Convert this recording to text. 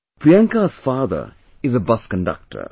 Priyanka's father is a bus conductor